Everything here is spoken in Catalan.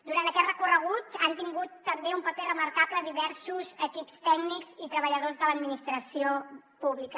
durant aquest recorregut han tingut també un paper remarcable diversos equips tècnics i treballadors de l’administració pública